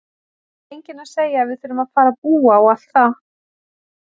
Það er enginn að segja að við þurfum að fara að búa og allt það!